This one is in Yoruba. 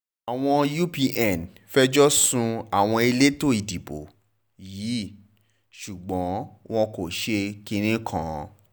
àwọn u epa fẹjọ́ sun àwọn elétò ìdìbò yìí ṣùgbọ́n wọn kò ṣe kinní kan